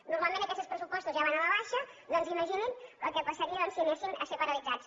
normalment aquests pressupostos ja van a la baixa doncs imagini’s el que passaria si anessin a ser paralitzats